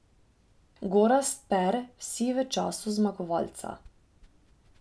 Gorazd Per, vsi v času zmagovalca.